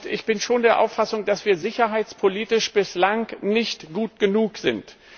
Ich bin schon der Auffassung, dass wir sicherheitspolitisch bislang nicht gut genug sind.